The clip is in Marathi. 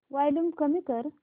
वॉल्यूम कमी कर